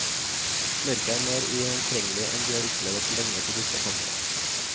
Mørket er mer ugjennomtrengelig enn de har opplevet på lenge på disse kanter.